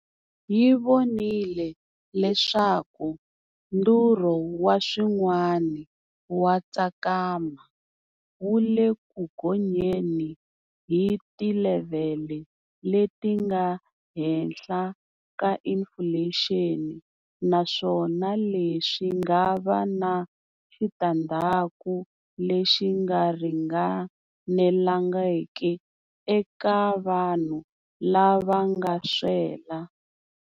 Yi vonile leswaku ndhurho wa swirin'wa wa tsakama wu le ku gonyeni hi tilevhele leti nga henhla ka inifulexini, naswona leswi nga va na xitandzhaku lexi nga ringanelangiki eka vanhu lava nga swela.